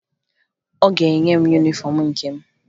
Ọ ga-enye m yunifọmụ nke m